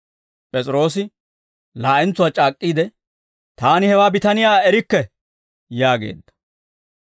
P'es'iroosi laa'entsuwaa c'aak'k'iidde, «Taani hewaa bitaniyaa erikke» yaageedda.